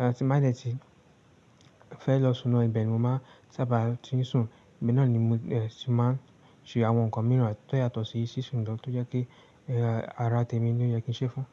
Ehn, tí mo bá nì ṣe fẹ́ lọ súná ibẹ̀ ni mo máa sábà ti ń sùn, ibi náà ni mo, ẹ, ti máa ń ṣe àwọn nǹkan mìíràn tó yàtọ̀ sí sísùn lọ tó jẹ́ pé yàrá tèmi ni ó yẹ kí n ṣe fún.